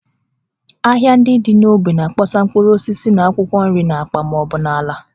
Ahịa ndị dị n’ógbè na-akpọsa mkpụrụ osisi na akwụkwọ nri n’akpa ma ọ bụ n’ala